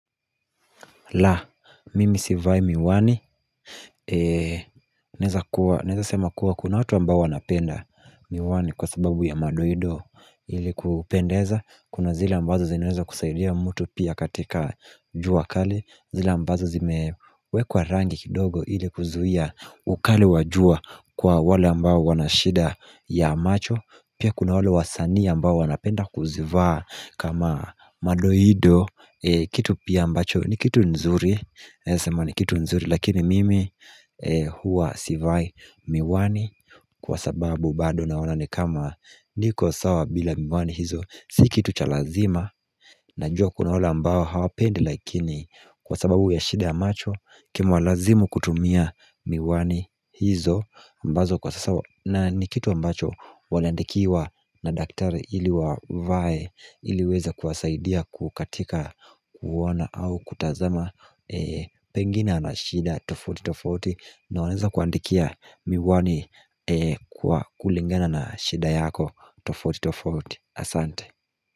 La, mimi sivai miwani Naeza sema kuwa kuna watu ambao wanapenda miwani kwa sababu ya madoido ili kupendeza Kuna zile ambazo zinaweza kusaidia mtu pia katika jua kali zile ambazo zimewekwa rangi kidogo ili kuzuhia ukali wajua kwa wale ambao wanashida ya macho Pia kuna wale wasani ambao wanapenda kuzivaa kama madoido Kitu pia ambacho ni kitu nzuri Naesa sema ni kitu nzuri Lakini mimi hua sivai miwani Kwa sababu bado naona ni kama niko sawa bila miwani hizo Sikitu cha lazima Najua kuna wale ambao hawapendi Lakini kwa sababu ya shida ya macho Kimewalazimu kutumia miwani hizo ambazo kwa sasa wa na ni kitu mbacho waandikiwa na daktari ili wavae iliiweze kuwasaidia kukatika kuona au kutazama Pengina ana shida tofauti tofauti na wanaeza kuandikia miwani kwa kulingana na shida yako tofauti tofauti Asante.